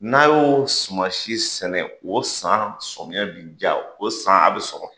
N'a y'o suman si sɛnɛ o san sɔmiyɛ bi diya o san a bɛ sɔrɔ